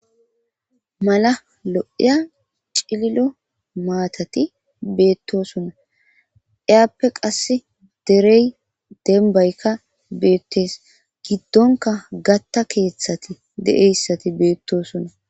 mala lo7iya cililo maatati beettosonna iyaappe qasse derey denbaykka beettees giddonka gatta keeththati de7eyssati beettosonna